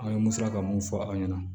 An ye musaka mun fɔ aw ɲɛna